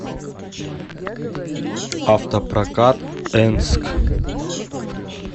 автопрокат энск